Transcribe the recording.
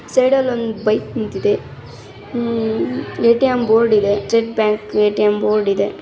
Side ಲ್ಲಿ ಒಂದು bike ನಿಂತಿದೆ hmm A .T .M board ಇದೆ state bank A .T .M board ಇದೆ.